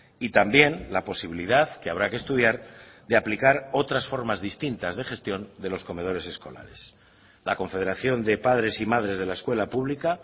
y también la posibilidad que habrá que estudiar de aplicar otras formas distintas de gestión de los comedores escolares la confederación de padres y madres de la escuela pública